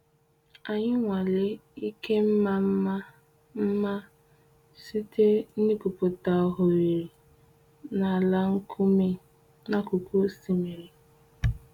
Anyị nwalee ike mma mma mma site n’igwupụta oghere n’ala nkume n’akụkụ osimiri.